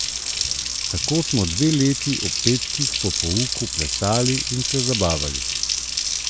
Tako smo dve leti ob petkih po pouku plesali in se zabavali.